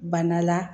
Bana la